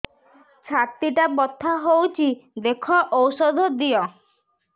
ଛାତି ଟା ବଥା ହଉଚି ଦେଖ ଔଷଧ ଦିଅ